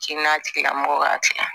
Kɛnɛya tigilamɔgɔw ka tiya